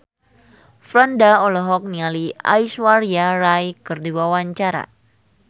Franda olohok ningali Aishwarya Rai keur diwawancara